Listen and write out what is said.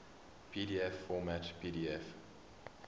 pdf format pdf